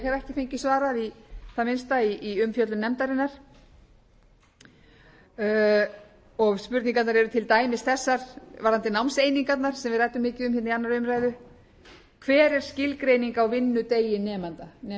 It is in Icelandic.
ekki fengið svarað í það minnsta í umfjöllun nefndarinnar og spurningarnar eru til dæmis þessar varðandi námseiningarnar sem við ræddum mikið um hér í annarri umræðu hver er skilgreining á vinnudegi nemanda spyrja kennararnir